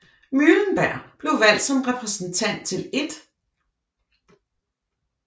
Muhlenberg blev valgt som repræsentant til 1